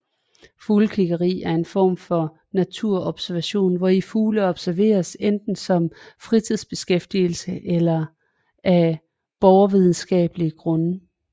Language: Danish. Fuglekiggeri er en form for naturobservation hvori fugle observeres enten som fritidsbeskæftigelse eller af borgervidenskabelige grunde